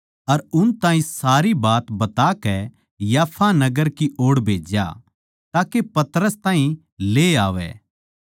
अर उन ताहीं सारी बात बताकै याफा नगर की ओड़ भेज्या ताके पतरस ताहीं ले आवै